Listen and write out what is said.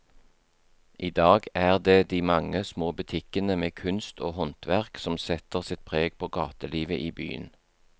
I dag er det de mange små butikkene med kunst og håndverk som setter sitt preg på gatelivet i byen.